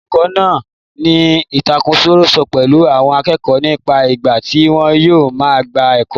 Olùkọ máa ní ìtàkurọ̀sọ pèlu àwọn akẹ́kọ̀ọ́ nípa ìgbà tí wọn yóò máa gba ẹ̀kọ́.